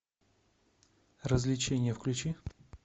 развлечение включи